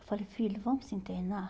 Eu falei, filho, vamos se internar?